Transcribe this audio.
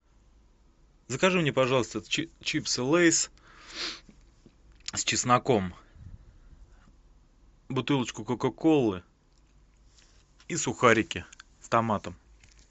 закажи мне пожалуйста чипсы лейс с чесноком бутылочку кока колы и сухарики с томатом